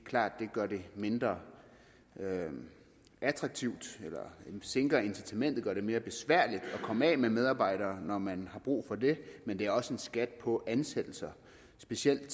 klart at det gør det mindre attraktivt sænker incitamentet og det mere besværligt at komme af med medarbejdere når man har brug for det men det er også en skat på ansættelser specielt